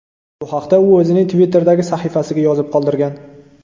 Bu haqda u o‘zining Twitter’dagi sahifasiga yozib qoldirgan .